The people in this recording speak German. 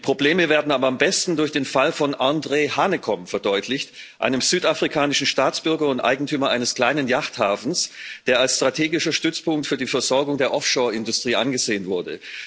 Die Probleme werden aber am besten durch den Fall von André Hanekom verdeutlicht, einem südafrikanischen Staatsbürger und Eigentümer eines kleinen Yachthafens, der als strategischer Stützpunkt für die Versorgung der Offshore Industrie angesehen wurde.